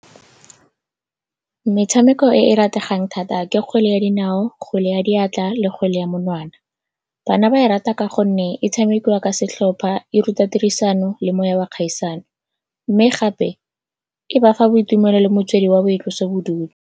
Metshameko e e rategang thata ke kgwele ya dinao, kgwele ya diatla le kgwele ya monwana. Bana ba e rata ka gonne e tshamekiwa ka setlhopha, e ruta tirisano le moya wa kgaisano, mme gape, e ba fa boitumelo le motswedi wa boitlosobodutu.